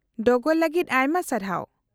-ᱰᱚᱜᱚᱨ ᱞᱟᱹᱜᱤᱫ ᱟᱭᱢᱟ ᱥᱟᱨᱦᱟᱣ ᱾